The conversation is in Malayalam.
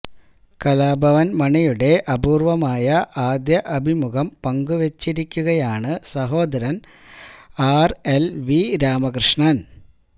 കലാഭവന് മണിയുടെ അപൂര്വമായ ആദ്യ അഭിമുഖം പങ്കുവെച്ചിരിക്കുകയാണ് സഹോദരന് ആര് എല് വി രാമകൃഷ്ണന്